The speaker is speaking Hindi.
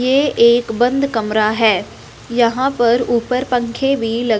ये एक बंद कमरा है यहां पर ऊपर पंखे भी लग--